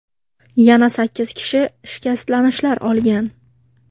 Yana sakkiz kishi shikastlanishlar olgan.